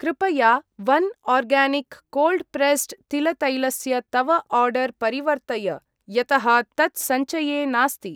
कृपया one organic cold pressed तिलतैलस्य तव आर्डर् परिवर्तय यतः तत् सञ्चये नास्ति।